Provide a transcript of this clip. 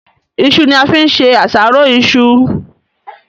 iṣu ni a fín ṣe àṣàrò iṣu.